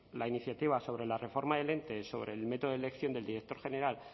la iniciativa sobre la reforma del ente sobre el método de elección del director general